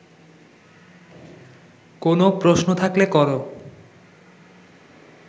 কোনও প্রশ্ন থাকলে কর